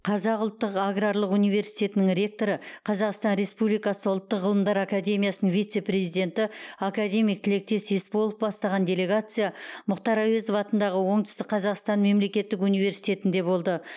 қазақ ұлттық аграрлық университетінің ректоры қазақстан республикасы ұлттық ғылымдар академиясының вице президенті академик тілектес есполов бастаған делегация мұхтар әуезов атындағы оңтүстік қазақстан мемлекеттік университетінде болды